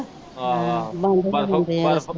ਬੰਦ ਹੋ ਜਾਂਦੇ ਆ।